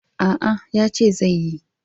A'a, yace zai yi.